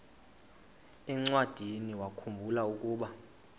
encwadiniwakhu mbula ukuba